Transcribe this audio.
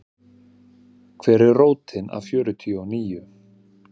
Hver er rótin af fjörtíu og níu?